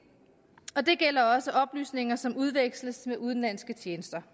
gælder også oplysninger som udveksles med udenlandske tjenester